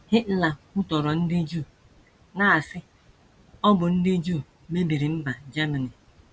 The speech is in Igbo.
Hitler kwutọrọ ndị Juu, na - asị, ‘ Ọ bụ ndị Juu mebiri mba Germany. ’